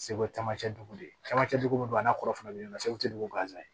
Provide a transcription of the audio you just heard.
Segu camancɛ dugu de ye camancɛ dugu bɛ don a n'a kɔrɔfɔ fana bɛ ɲɔgɔn na segu dugu gansan ye